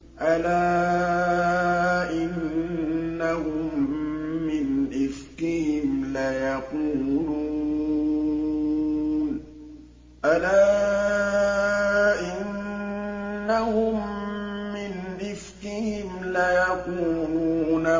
أَلَا إِنَّهُم مِّنْ إِفْكِهِمْ لَيَقُولُونَ